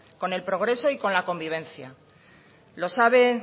con el progreso y la convivencia lo sabe